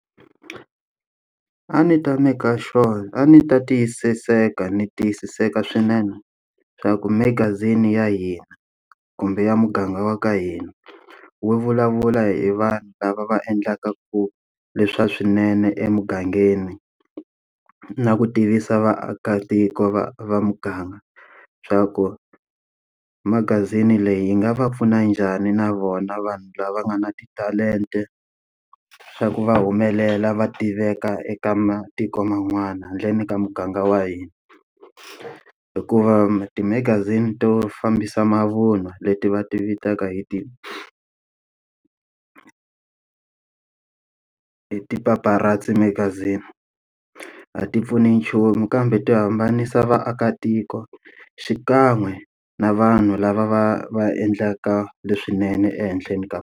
A ndzi ta maker sure a ni ta tiyisiseka ni tiyisiseka swinene leswaku magazini ya hina kumbe ya muganga wa ka hina, wu vulavula hi vanhu lava va endlaka ku leswi swa swinene emugangeni na ku tivisa vaakatiko va va muganga, leswaku magazini leyi yi nga va pfuna njhani na vona vanhu lava nga na titalenta, leswaku va humelela, va tiveka eka matiko man'wana handleni ka muganga wa hina. Hikuva timagazini to fambisa mavunwa leti va ti vitaka hi ti ti paparazi magazini, a ti pfuni nchumu kambe ti hambanisa vaakatiko xikan'we na vanhu lava va va endlaka leswinene ehenhleni ka.